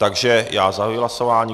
Takže já zahajuji hlasování.